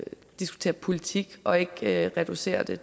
diskutere politik og ikke reducere det